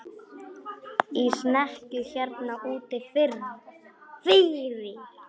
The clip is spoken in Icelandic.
Í snekkju hérna úti fyrir!